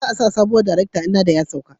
Za a sa sabuwar darekta in na da ya sauka